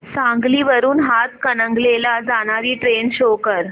सांगली वरून हातकणंगले ला जाणारी ट्रेन शो कर